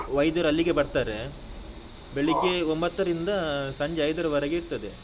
ವೈದ್ಯರಲ್ಲಿಗೆ ಬರ್ತಾರೆ. ಬೆಳ್ಳಿಗ್ಗೆ ಒಂಭತ್ತರಿಂದ ಸಂಜೆ ಐದರವರೆಗೆ ಇರ್ತದೆ.